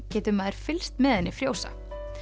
getur maður fylgst með henni frjósa